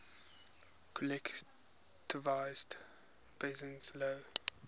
collectivized peasants low